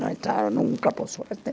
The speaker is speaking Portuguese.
Não entraram nunca, por sorte.